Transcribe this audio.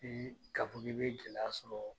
Bi ka fɔ k'i be jɛlɛya sɔrɔ